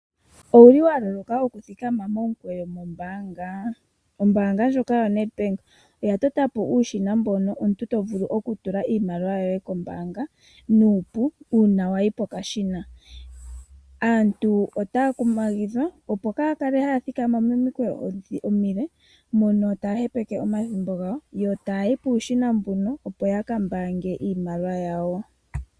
Owu li wa loloka okuthikama momukweyo mombaanga? Ombaanga ndjoka yaNedbank oya tota po uushina mbono omuntu to vulu okutula iimaliwa yoye kombaanga nuupu uuna wa yi pokashina. Aantu otaya kumagidhwa, opo kaaya kale haya thikama momikweyo omile mono taya hepeke omathimbo gawo, yo taya yi puushina mbuno, opo ya ka mbaange iimaliwa yawo.